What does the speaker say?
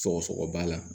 Sɔgɔsɔgɔ b'a la